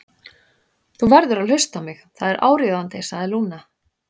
Þú verður að hlusta á mig, það er áríðandi, sagði Lúna.